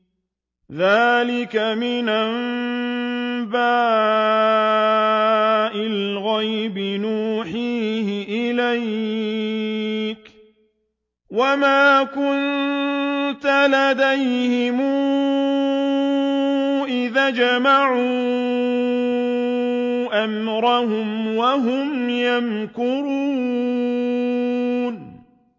ذَٰلِكَ مِنْ أَنبَاءِ الْغَيْبِ نُوحِيهِ إِلَيْكَ ۖ وَمَا كُنتَ لَدَيْهِمْ إِذْ أَجْمَعُوا أَمْرَهُمْ وَهُمْ يَمْكُرُونَ